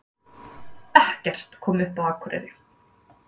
Ekkert kom upp á Akureyri